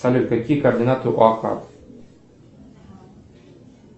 салют какие координаты у ока